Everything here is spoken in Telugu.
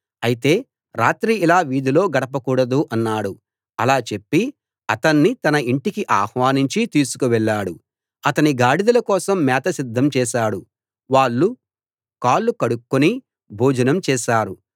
అయితే రాత్రి ఇలా వీధిలో గడపకూడదు అన్నాడు అలా చెప్పి అతణ్ణి తన ఇంటికి ఆహ్వానించి తీసుకు వెళ్ళాడు అతని గాడిదల కోసం మేత సిద్ధం చేశాడు వాళ్ళు కాళ్ళు కడుక్కుని భోజనం చేశారు